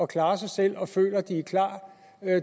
klare sig selv og føler at de er klar